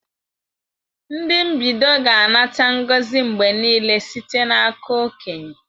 Ndị mbido ga-anata ngozi mgbe niile site n'aka okenye.